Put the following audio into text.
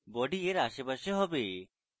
body এর আশেপাশে হবে